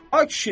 Ay kişi!